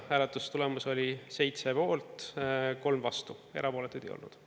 Hääletustulemus oli 7 poolt, 3 vastu, erapooletuid ei olnud.